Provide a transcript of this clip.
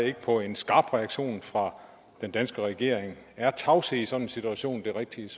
ikke på en skarp reaktion fra den danske regering er tavshed i sådan en situation det rigtige